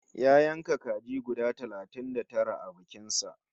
Ya yanka kaji guda talatin da tara a bikin sa